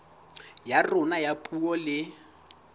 ya rona ya puo le